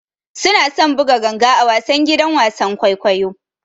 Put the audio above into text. Suna son buga ganga a wasan gidan wasan kwaikwayo.